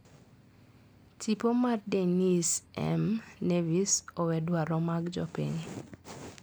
Tipo mar Denise M Nevis owe dwaro mag jopiny.